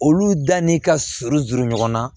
Olu da ni ka surun juru ɲɔgɔn na